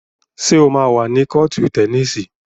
Ṣé o máa wà ní kọ́ọ̀tù tẹníìsì?